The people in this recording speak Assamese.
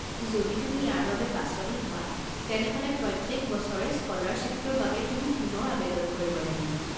যদি তুমি ইয়াৰ বাবে বাছনি হোৱা, তেনেহ'লে প্ৰত্যেক বছৰে স্ক'লাৰশ্বিপটোৰ বাবে তুমি পুনৰ আৱেদন কৰিব লাগিব।